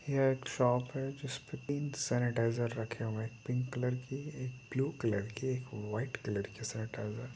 यह एक शॉप है सैनिटाइजर रखे हुए है पिंक कलर की एक ब्लू कलर एक वाइट कलर की सैनिटाइजर